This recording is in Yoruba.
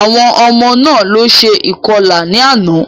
Àwọn ọmọ náà ló ṣe ìkọlà ní àná.